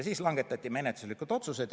Siis langetati menetluslikud otsused.